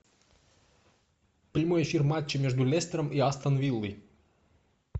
прямой эфир матча между лестером и астон виллой